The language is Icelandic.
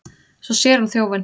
Svo sér hún þjófinn.